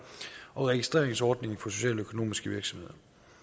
og registreringsordning for socialøkonomiske virksomheder